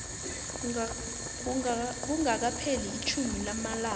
kungakapheli itjhumi lamalanga